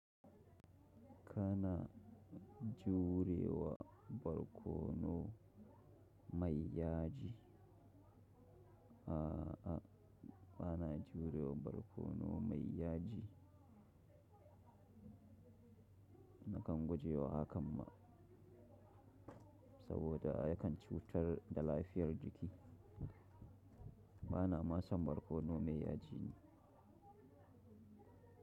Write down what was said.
Kana jurewa barkono mai yaji. A'a, bana jurewa barkono mai yaji. Nakan guje wa hakan ma saboda yakan cutar da lafiyar jiki. Bana ma son barkono mai yaji ni.